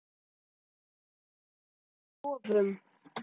Að ráða lögum og lofum.